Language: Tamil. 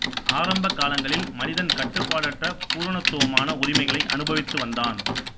ஆரம்ப காலங்களில் மனிதன் கட்டுப்பாடற்ற பூரணத்துவமான உரிமைகளை அனுபவித்து வந்தான்